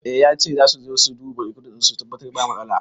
I yace zasu su zo su dubi rekodin su tabbatar ba matsala